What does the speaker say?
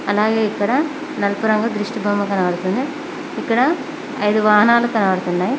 అలాగే ఇక్కడ నలుపు రంగు దిష్టి బొమ్మ కనబడుతుంది ఇక్కడ ఐదు వాహనాలు కనబడుతున్నాయి.